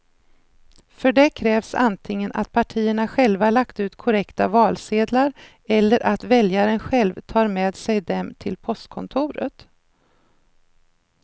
För det krävs antingen att partierna själva lagt ut korrekta valsedlar eller att väljaren själv tar med sig dem till postkontoret.